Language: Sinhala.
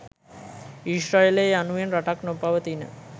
ඊශ්‍රායලය යනුවෙන් ‍රටක් නොපවතින